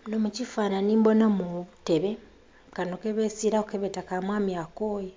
Munho mu kifananhi mbonhamu obutebe, kanho kebesiilaku kyebeta mwami akooye